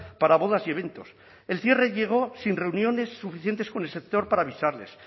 para bodas y eventos el cierre llegó sin reuniones suficientes con el sector para avisarles